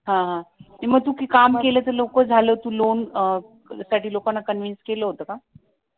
हां हां मग तू ते काम केलं ते लोक झालं तू लोन साठी लोकांना कन्व्हिन्स केलं होत का?